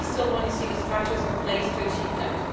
I still want to see the structures in place to achieve that.